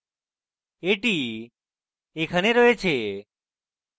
এটি এখানে রয়েছে